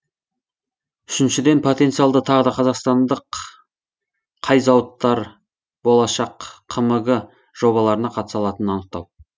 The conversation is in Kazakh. үшіншіден потенциалды тағы да қазақстандық қай зауыттар болашақ қмг жобаларына қатыса алатынын анықтау